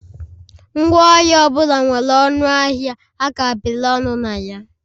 Ngwaahịa ọ bụla nwere ọnụ ahịa a kapịrị ọnụ na ya